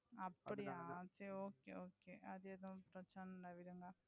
அப்படியா okay okay சரி அது ஏதும் பிரச்னையில்ல. விடுங்க